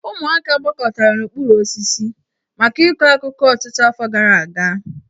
Ụmụaka gbakọtara n'okpuru osisi maka ịkọ akụkọ ọtụtụ afọ gara aga